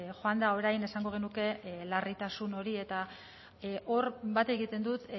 joan da orain esango genuke larritasun hori eta hor bat egiten dut